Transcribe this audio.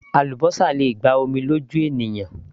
Àlúbósà le gba omi lójú ènìyàn